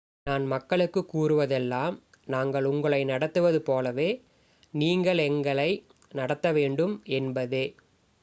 நான் மக்களுக்கு கூறுவதெல்லாம் நாங்கள் உங்களை நடத்துவது போலவே நீங்கள் எங்களை நடத்த வேண்டும் என்பதே